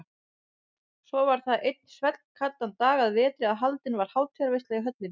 Svo var það einn svellkaldan dag að vetri að haldin var hátíðarveisla í höllinni.